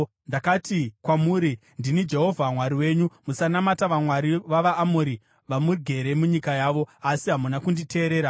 Ndakati kwamuri, ‘Ndini Jehovha Mwari wenyu, musanamata vamwari vavaAmori, vamugere munyika yavo.’ Asi hamuna kunditeerera.”